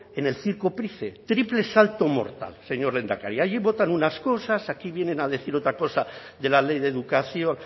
en el circo price triple salto mortal señor lehendakari allí votan unas cosas aquí vienen a decir otra cosa de la ley de educación